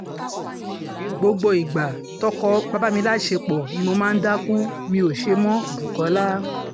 gbogbo ìgbà tọ́kọ bá bá mi láṣẹpọ̀ ni mo máa ń dákú mi ó ṣe mọ́- bukola